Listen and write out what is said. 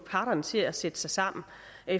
parterne til at sætte sig sammen